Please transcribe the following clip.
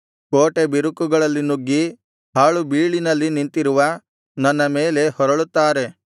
ಕೋಟೆ ಬಿರುಕುಗಳಲ್ಲಿ ನುಗ್ಗಿ ಹಾಳುಬೀಳಿನಲ್ಲಿ ನಿಂತಿರುವ ನನ್ನ ಮೇಲೆ ಹೊರಳುತ್ತಾರೆ